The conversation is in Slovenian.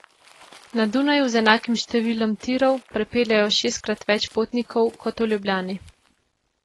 Na Dunaju z enakim številom tirov prepeljejo šestkrat več potnikov kot v Ljubljani.